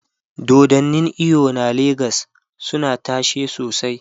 dodannin eyo na legas suna tashe sosai